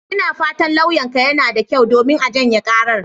Ina fatan lauyanka yana da kyau, domin a janye karar.